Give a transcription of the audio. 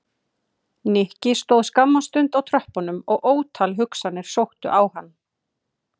Nikki stóð skamma stund á tröppunum og ótal hugsanir sóttu á hann.